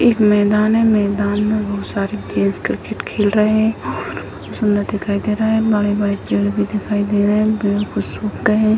एक मैदान है मैदान में बहुत सारे जेंट्स क्रिकेट खेल रहे हैं और सुंदर दिखाई दे रहा है बड़े-बड़े पेड़ भी दिखाई दे रहे हैं हैं |